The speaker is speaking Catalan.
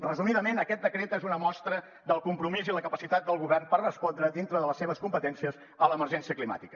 resumidament aquest decret és una mostra del compromís i la capacitat del govern per respondre dintre de les seves competències a l’emergència climàtica